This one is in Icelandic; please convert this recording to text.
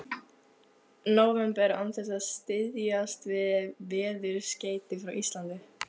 nóvember án þess að styðjast við veðurskeyti frá Íslandi.